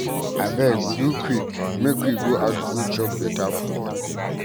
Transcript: Abeg do quick make we go out go chop beta food.